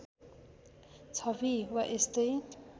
छवि वा यस्तै